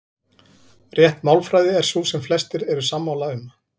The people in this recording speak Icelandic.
Rétt málfræði er sú sem flestir eru sammála um.